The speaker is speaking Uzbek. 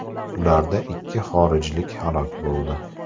Ularda ikki xorijlik halok bo‘ldi.